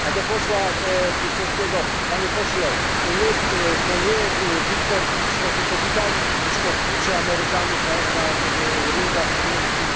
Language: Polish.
Do posła czeskiego Panie Pośle, to nie Wiktor Kłyczko, tylko Witalij Kłyczko tłucze Amerykanów na ringach niemieckich.